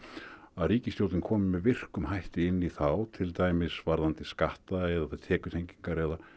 að ríkisstjórnin komi með virkum hætti inn í þá til dæmis varðandi skatta tekjutengingar eða